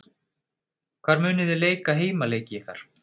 Hvar munið þið leika heimaleiki ykkar?